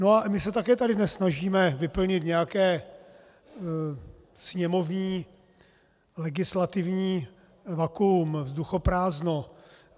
No a my se také tady dnes snažíme vyplnit nějaké sněmovní legislativní vakuum, vzduchoprázdno.